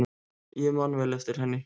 Ég man vel eftir henni.